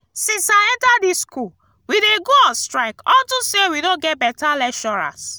since i enter dis school we dey go on strike unto say we no get beta lecturers